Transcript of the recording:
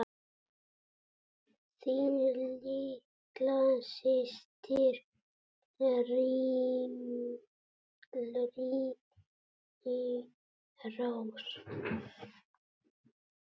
Þín litla systir, Irmý Rós.